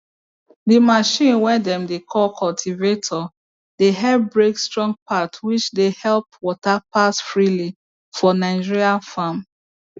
the machine way dem dey call cultivator dey help break strong part which dey help water pass freely for nigerian farm